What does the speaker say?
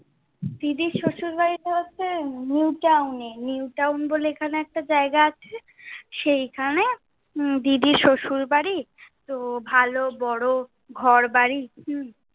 দিদির শশুর বাড়ি বলতে new town এ, new town বলে এখানে জায়গা আছে, সেই খানে উম দিদির শ্বশুর বাড়ি। তো ভালো বড়ো ঘর বাড়ি উম